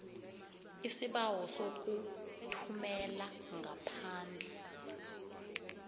isibawo sokuthumela ngaphandle